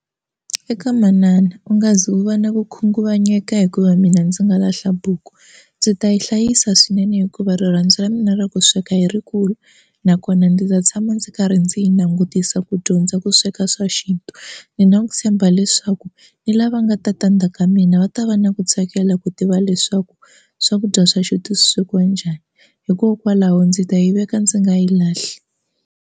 Eka manana u nga ze u va na ku khunguvanyeka hikuva mina ndzi nga lahla buku ndzi ta yi hlayisa swinene hikuva rirhandzu ra mina ra ku sweka i rikulu nakona ndzi ta tshama ndzi karhi ndzi langutisa dyondza ku sweka swa xintu ni na ku tshemba leswaku ni lava nga ta ta ndzhaka ka mina va ta va na ku tsakela ku tiva leswaku swakudya swa xintu swi swekiwa njhani hikokwalaho ndzi ta yi veka ndzi nga yi lahli.